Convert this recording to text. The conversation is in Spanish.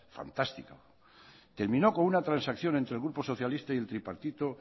fantástico terminó con una transacción entre el grupo socialista y el tripartito